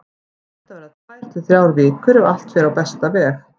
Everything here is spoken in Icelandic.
Þetta verða tvær til þrjár vikur ef allt fer á besta veg.